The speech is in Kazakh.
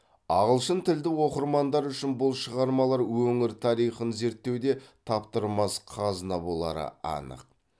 ағылшынтілді оқырмандар үшін бұл шығармалар өңір тарихын зерттеуде таптырмас қазына болары анық